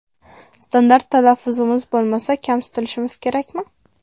Standart talaffuzimiz bo‘lmasa, kamsitilishimiz kerakmi?